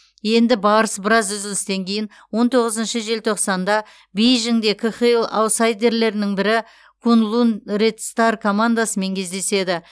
енді барыс біраз үзілістен кейін он тоғызыншы желтоқсанда бейжіңде қхл аутсайдерлерінің бірі куньлунь ред стар командасымен кездеседі